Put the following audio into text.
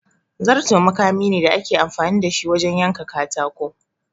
Zarto makami ne da ake amfani da shi wajen yanka katako.